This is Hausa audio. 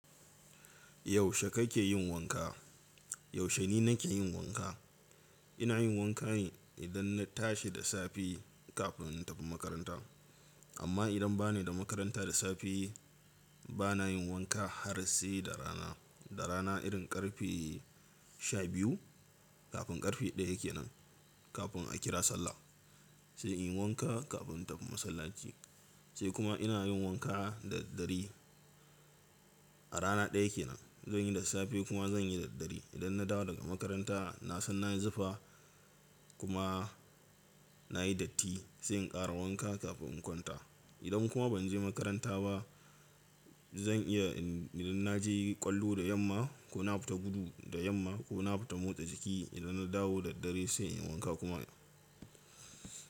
Yaushe kake yin wanka? Yaushe ni nake yin wanka? Ina yin wanka idan na tashi da safe kafin in tafi makaranta. Amma idan ba ni da makaranta da safe, ba na yin wanka har sai da rana. Da rana irin ƙarfe sha biyu kafin ƙarfe ɗaya kenan, kafin a kira sallah. Sai in yi wanka kafin in tafi masallaci. Sai kuma ina yin wanka da dare a rana ɗaya kenan. Zan yi da safe kuma zan yi da dare. Idan na dawo daga makaranta, na san na yi zafi kuma na yi datti sai in ƙara wanka kafin in kwanta. Idan kuma ban je makaranta ba, zan iya idan na je ƙwallo da yamma ko na fita gudu da yamma ko na fita motsa jiki idan na dawo da dare sai in wanka kuma.